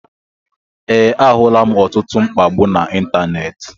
Ee, ahulam ọtụtụ mkpagbu na ịntanetị